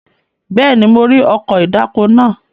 Bẹ́ẹ̀ni, mo rí ọkọ̀ ìdáko náà.